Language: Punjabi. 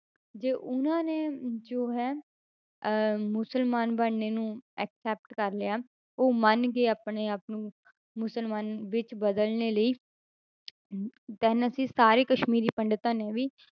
ਜੇ ਉਹਨਾਂ ਨੇ ਜੋ ਹੈ ਅਹ ਮੁਸਲਮਾਨ ਬਣਨੇ ਨੂੰ accept ਕਰ ਲਿਆ, ਉਹ ਮੰਨ ਗਏ ਆਪਣੇ ਆਪ ਨੂੰ ਮੁਸਲਮਾਨ ਵਿੱਚ ਬਦਲਣੇ ਲਈ ਅਮ then ਅਸੀਂ ਸਾਰੇ ਕਸ਼ਮੀਰੀ ਪੰਡਿਤਾਂ ਨੇ ਵੀ